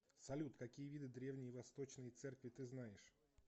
салют какие виды древние восточные церкви ты знаешь